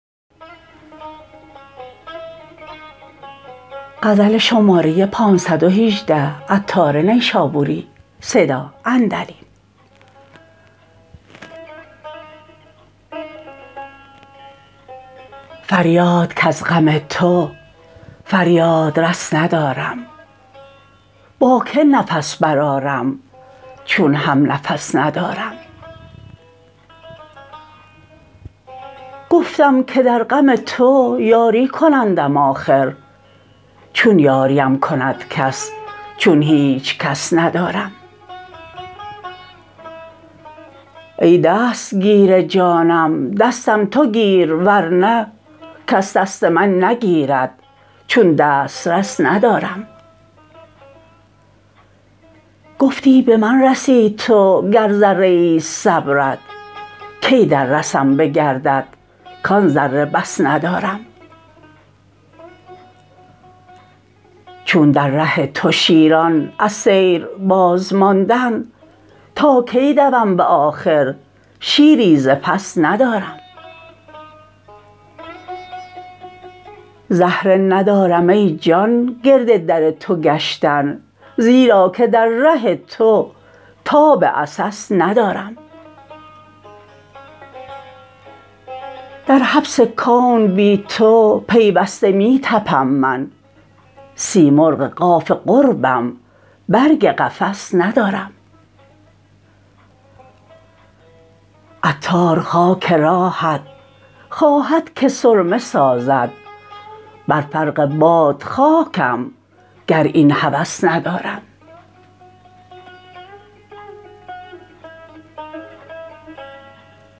فریاد کز غم تو فریادرس ندارم با که نفس برآرم چون همنفس ندارم گفتم که در غم تو یاری کنندم آخر چون یاریم کند کس چون هیچکس ندارم ای دستگیر جانم دستم تو گیر ورنه کس دست من نگیرد چون دست رس ندارم گفتی به من رسی تو گر ذره ای است صبرت کی در رسم به گردت کان ذره بس ندارم چون در ره تو شیران از سیر بازماندند تا کی دوم به آخر شیری ز پس ندارم زهره ندارم ای جان گرد در تو گشتن زیرا که در ره تو تاب عسس ندارم در حبس کون بی تو پیوسته می تپم من سیمرغ قاف قربم برگ قفس ندارم عطار خاک راهت خواهد که سرمه سازد بر فرق باد خاکم گر این هوس ندارم